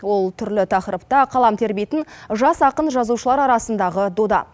ол түрлі тақырыпта қалам тербейтін жас ақын жазушылар арасындағы дода